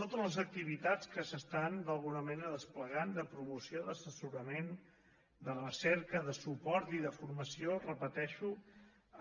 totes les activitats que s’estan d’alguna manera desplegant de promoció d’assessorament de recerca de suport i de formació ho repeteixo